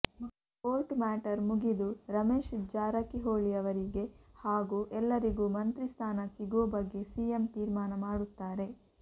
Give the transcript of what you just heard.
court matter ಮುಗಿದು ರಮೇಶ್ ಜಾರಕಿಹೊಳಿಯವರಿಗೆ ಹಾಗೂ ಎಲ್ಲರಿಗೂ ಮಂತ್ರಿ ಸ್ಥಾನ ಸಿಗೋ ಬಗ್ಗೆ ಸಿಎಂ ತೀರ್ಮಾನ ಮಾಡುತ್ತಾರೆ